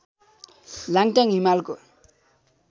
लाङ्टाङ हिमालको